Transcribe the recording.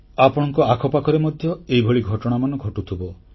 ଆପଣଙ୍କ ଆଖପାଖରେ ମଧ୍ୟ ଏଇଭଳି ଘଟଣାମାନ ଘଟୁଥିବ